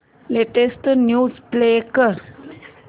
latest news play कर